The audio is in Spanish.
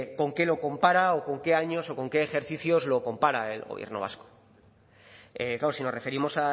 con qué lo compara o con qué años o con qué ejercicios lo compara el gobierno vasco claro si nos referimos